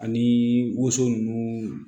Ani woso nunnu